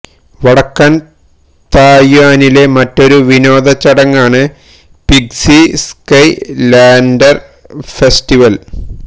വടക്കൻ തായ്വാനിലെ മറ്റൊരു വിനോദ ചടങ്ങാണ് പിംഗ്സി സ്കൈ ലാൻറ്റർ ഫെസ്റ്റിവൽ